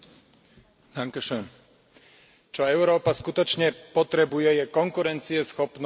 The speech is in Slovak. Čo Európa skutočne potrebuje, je konkurencieschopnosť a sloboda v podnikaní.